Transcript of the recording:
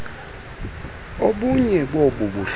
obunye bobu buhlobo